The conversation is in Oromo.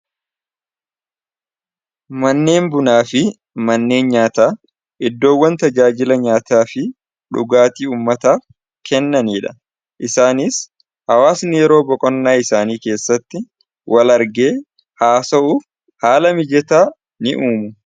Manneen bunaa fi manneen nyaataa iddoowwan tajaajila nyaataa fi dhugaatii ummataaf kennaniidha isaaniis hawaasni yeroo boqonnaa isaanii keessatti wal argee haasa'uuf haala mijataa ni uumu.